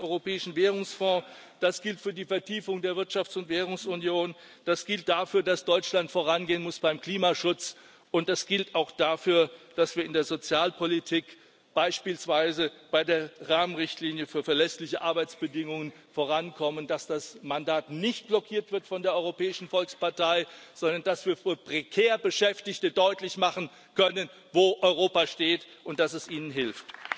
Das gilt für den Europäischen Währungsfonds, das gilt für die Vertiefung der Wirtschafts und Währungsunion, das gilt dafür, dass Deutschland vorangehen muss beim Klimaschutz, und das gilt auch dafür, dass wir in der Sozialpolitik beispielsweise bei der Rahmenrichtlinie für verlässliche Arbeitsbedingungen vorankommen, dass das Mandat nicht blockiert wird von der Europäischen Volkspartei, sondern dass wir für prekär Beschäftigte deutlich machen können, wo Europa steht und dass es ihnen hilft.